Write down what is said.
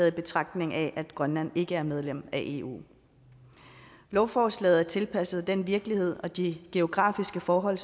i betragtning af at grønland ikke er medlem af eu lovforslaget er tilpasset den virkelighed og de geografiske forhold